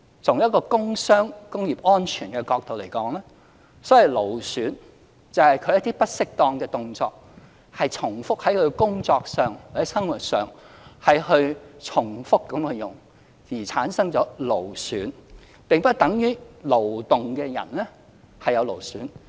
從一個工傷、工業安全的角度而言，所謂勞損，就是在工作或生活重複使用不適當的動作而產生勞損，並不等於勞動的人便必然會有勞損。